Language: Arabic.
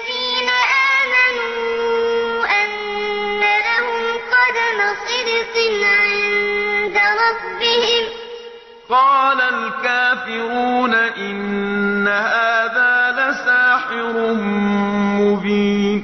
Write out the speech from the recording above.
الْكَافِرُونَ إِنَّ هَٰذَا لَسَاحِرٌ مُّبِينٌ أَكَانَ لِلنَّاسِ عَجَبًا أَنْ أَوْحَيْنَا إِلَىٰ رَجُلٍ مِّنْهُمْ أَنْ أَنذِرِ النَّاسَ وَبَشِّرِ الَّذِينَ آمَنُوا أَنَّ لَهُمْ قَدَمَ صِدْقٍ عِندَ رَبِّهِمْ ۗ قَالَ الْكَافِرُونَ إِنَّ هَٰذَا لَسَاحِرٌ مُّبِينٌ